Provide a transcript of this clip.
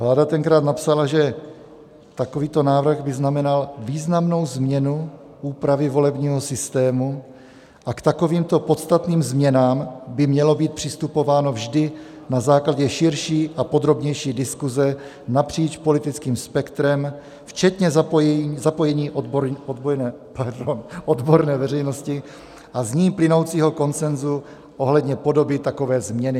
Vláda tenkrát napsala, že takovýto návrh by znamenal významnou změnu úpravy volebního systému a k takovýmto podstatným změnám by mělo být přistupováno vždy na základě širší a podrobnější diskuze napříč politickým spektrem včetně zapojení odborné veřejnosti a z ní plynoucího konsenzu ohledně podoby takové změny.